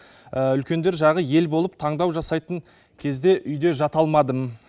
үлкендер жағы ел болып таңдау жасайтын кезде үйде жата алмадым